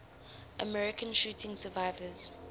american shooting survivors